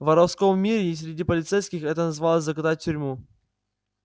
в воровском мире и среди полицейских это называлось закатать в тюрьму